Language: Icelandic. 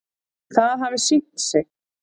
Það hafi sýnt sig.